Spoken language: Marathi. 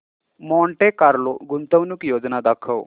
मॉन्टे कार्लो गुंतवणूक योजना दाखव